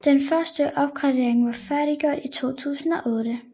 Den første opgradering var færdiggjort i 2008